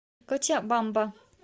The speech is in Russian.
кочабамба